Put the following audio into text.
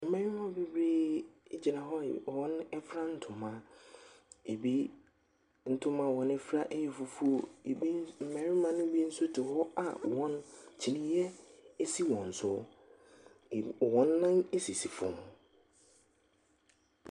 Mmarima bebree ɛgyina hɔ a wɔn afira ntoma. Ebi ntoma a wɔn afira ɛyɛ fufuo. Mmarima no bi nso te hɔ a kyinneɛ ɛsi wɔn so. Wɔn nnan ɛsisi fam.